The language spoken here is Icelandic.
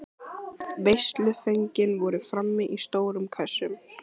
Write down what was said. Veisluföngin voru frammi í stórum kössum.